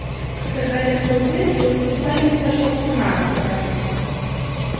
когда гарри открыл дверь клык едва ли не сошёл с ума с радости